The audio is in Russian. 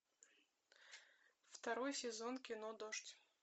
второй сезон кино дождь